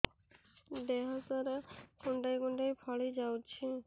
ଦେହ ସାରା କୁଣ୍ଡାଇ କୁଣ୍ଡାଇ ଫଳି ଯାଉଛି